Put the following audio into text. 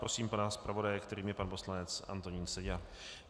Prosím pana zpravodaje, kterým je pan poslanec Antonín Seďa.